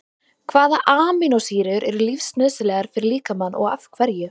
Hvaða amínósýrur eru lífsnauðsynlegar fyrir líkamann og af hverju?